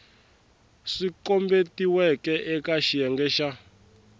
swi kombetiweke eka xiyenge xa